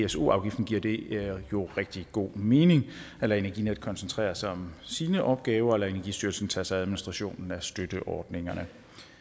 pso afgiften giver det jo rigtig god mening at lade energinet koncentrere sig om sine opgaver og lade energistyrelsen tage sig af administrationen af støtteordningerne